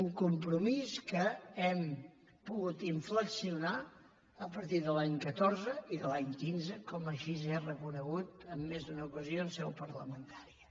un compromís que hem pogut inflexionar a partir de l’any catorze i de l’any quinze com així he reconegut en més d’una ocasió en seu parlamentària